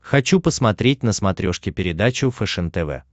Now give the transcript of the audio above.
хочу посмотреть на смотрешке передачу фэшен тв